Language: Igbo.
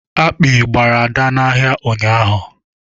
Akpị gbara Ada n'ahịa ụnyaahụ.